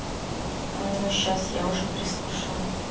ну сейчас я уже переслушаю